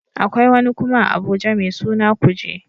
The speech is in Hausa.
Akwai wani kuma a Abuja mai suna kuje